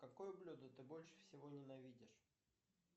какое блюдо ты больше всего ненавидишь